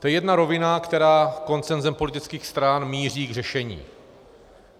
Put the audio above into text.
To je jedna rovina, která konsenzem politických stran míří k řešení.